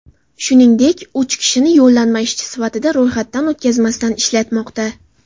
Shuningdek, uch kishini yollanma ishchi sifatida ro‘yxatdan o‘tkazmasdan ishlatmoqda.